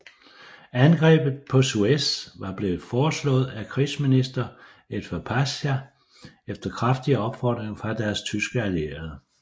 Angrebet på Suez var blevet foreslået af krigsminister Enver Pasha efter kraftige opfordringer fra deres tyske allierede